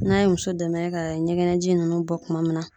N'an ye muso dɛmɛ ka ɲɛgɛnɛji nunnu bɔ kuma min na